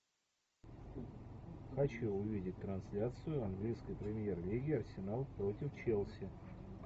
хочу увидеть трансляцию английской премьер лиги арсенал против челси